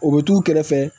O bɛ t'u kɛrɛfɛ